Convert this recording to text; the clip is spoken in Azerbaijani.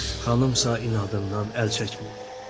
Xanımsa inadından əl çəkmirdi.